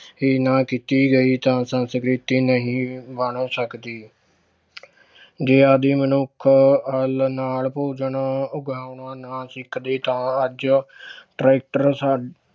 ਹੀ ਨਾ ਕੀਤੀ ਗਈ ਤਾਂ ਸੰਸਕ੍ਰਿਤੀ ਨਹੀਂ ਬਣ ਸਕਦੀ ਜੇ ਆਦਿ ਮਨੁੱਖ ਹੱਲ ਨਾਲ ਭੋਜਨ ਉਗਾਉਣਾ ਨਾ ਸਿੱਖਦੇ ਤਾਂ ਅੱਜ ਟਰੈਕਟਰ ਸਾ~